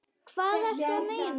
Hvað ertu að meina?